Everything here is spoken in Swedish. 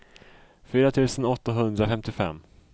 fyra tusen åttahundrafemtiofem